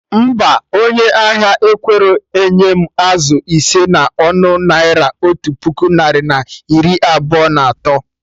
Mba, onye ahia ekwerọ enye m azụ ise na ọnụ Naira otu puku narị na iri abụọ na atọ